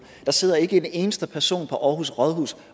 der sidder ikke en eneste person på aarhus rådhus